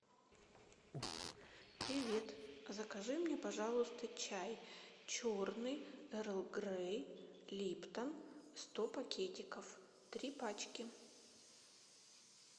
привет закажи мне пожалуйста чай черный эрл грей липтон сто пакетиков три пачки